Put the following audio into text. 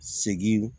Segin